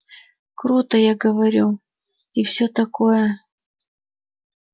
круто я говорю и всё такое